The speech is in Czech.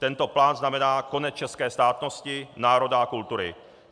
Tento plán znamená konec české státnosti, národa a kultury.